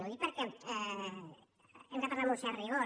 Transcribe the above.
ho dic perquè hem de parlar amb un cert rigor